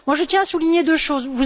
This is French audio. Je tiens à souligner deux choses.